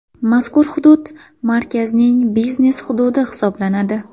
Mazkur hudud markazning biznes hududi hisoblanadi.